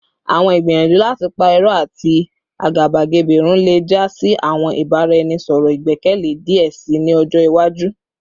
Awọn igbiyanju lati pa irọ ati agabagebe run le ja si awọn ibaraenisọrọ igbẹkẹle diẹ sii ni ọjọ iwaju